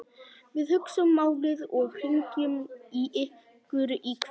Við hugsum málið og hringjum í ykkur í kvöld